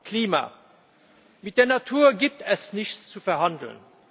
Klima Mit der Natur gibt es nichts zu verhandeln.